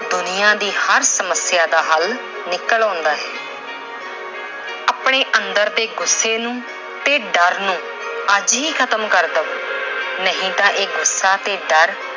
ਦੁਨੀਆ ਦੀ ਹਰ ਸਮੱਸਿਆ ਦਾ ਹੱਲ ਨਿਕਲ ਆਉਂਦਾ ਹੈ। ਆਪਣੇ ਅੰਦਰ ਦੇ ਗੁੱਸੇ ਨੂੰ ਤੇ ਡਰ ਨੂੰ ਅੱਜ ਹੀ ਖਤਮ ਕਰ ਦਿਓ। ਨਹੀਂ ਤਾਂ ਇਹ ਗੁੱਸਾ ਤੇ ਡਰ